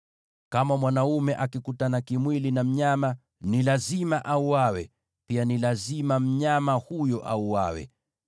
“ ‘Kama mwanaume akikutana kimwili na mnyama, ni lazima auawe, na pia ni lazima mnyama huyo auawe.